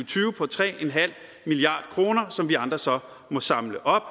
tyve på tre milliard kr som vi andre så må samle op